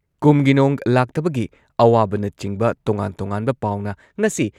ꯀꯨꯝꯒꯤ ꯅꯣꯡ ꯂꯥꯛꯇꯕꯒꯤ ꯑꯋꯥꯕꯅꯆꯤꯡꯕ ꯇꯣꯉꯥꯟ ꯇꯣꯉꯥꯟꯕ ꯄꯥꯎꯅ ꯉꯁꯤ